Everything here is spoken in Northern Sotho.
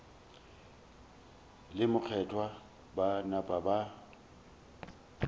le mokgethwa ba napa ba